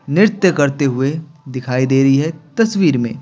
नृत्य करते हुए दिखाई दे रही है तस्वीर में।